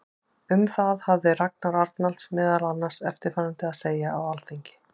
Um það hafði Ragnar Arnalds meðal annars eftirfarandi að segja á Alþingi